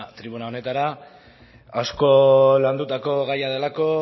tribuna honetara asko landutako gaia delako